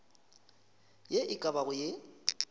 ye e ka bago ye